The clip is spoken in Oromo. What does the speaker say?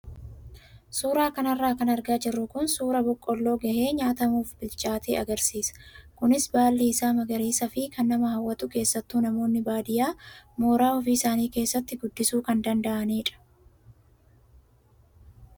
Suuraa kanarra kan argaa jirru kun suuraa boqqoolloo gahee nyaatamuuf bilchaate agarsiisa. Kunis baalli isaa magariisaa fi kan nama hawwatu keessattuu namoonni baadiyyaa mooraa ofii isaanii keessatti guddisuu kan danda'anidha.